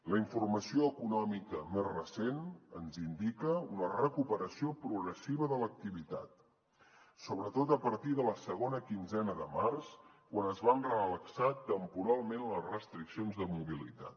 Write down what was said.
la informació econòmica més recent ens indica una recuperació progressiva de l’activitat sobretot a partir de la segona quinzena de març quan es van relaxar temporalment les restriccions de mobilitat